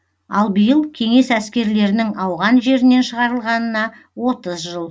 ал биыл кеңес әскерлерінің ауған жерінен шығарылғанына отыз жыл